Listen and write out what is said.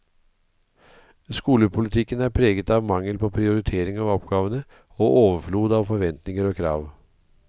Skolepolitikken er preget av mangel på prioritering av oppgavene og overflod av forventninger og krav.